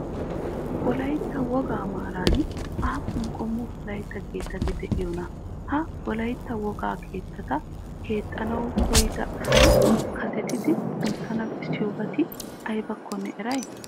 Wolaytta wogaa maaran aappun qommo wolaytta keettati de'iyonaa? Ha wolaytta wogaa keettata keexxanawu koyyida asi kasetidi kunttana bessiyobati aybakkonne eray?